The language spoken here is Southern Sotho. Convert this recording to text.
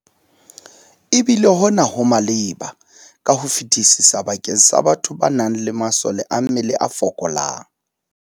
Ebile hona ho maleba ka ho fetisisa bakeng sa batho ba nang le masole a mmele a fokolang.